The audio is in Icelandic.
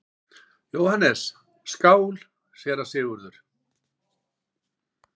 JÓHANNES: Skál, séra Sigurður!